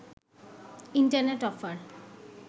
internet offer